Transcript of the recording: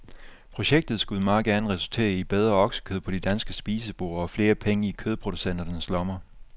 Projektet skulle meget gerne reultere i bedre oksekød på de danske spiseborde og flere penge i kødproducenternes lommer.